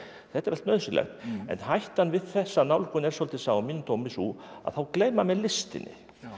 þetta er allt nauðsynlegt en hættan við þessa nálgun er svolítið að mínum dómi sú að þá gleyma menn listinni